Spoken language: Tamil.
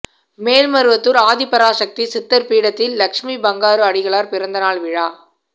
மேல்மருவத்தூர் ஆதிபராசக்தி சித்தர் பீடத்தில் லட்சுமி பங்காரு அடிகளார் பிறந்தநாள் விழா